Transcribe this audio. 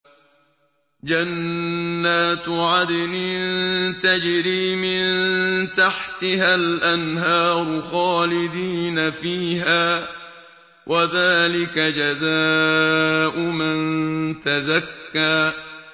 جَنَّاتُ عَدْنٍ تَجْرِي مِن تَحْتِهَا الْأَنْهَارُ خَالِدِينَ فِيهَا ۚ وَذَٰلِكَ جَزَاءُ مَن تَزَكَّىٰ